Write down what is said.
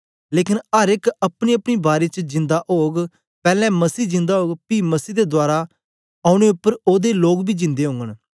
लेकन अर एक अपनीअपनी बारी च जिंदा ओग पैलैं मसीह जिंदा ओग पी मसीह दे दवारा औने उपर ओदे लोग बी जिंदे ओगन